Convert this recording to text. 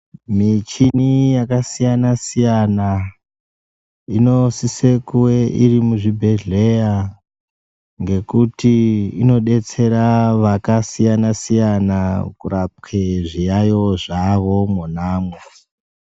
Mishini yakasiyana siyana inosise kuve iri muzvibhedhleya ngokuti inodetsera vakasiyana siyana kurapwe zviyayiyo zvavo mona imwo.